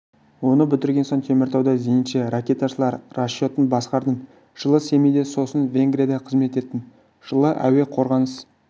оны бітірген соң теміртауда зенитші-ракеташылар расчетін басқардым жылы семейде сосын венгрияда қызмет еттім жылы әуе қорғаныс